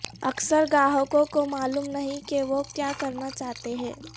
اکثر گاہکوں کو معلوم نہیں کہ وہ کیا کرنا چاہتے ہیں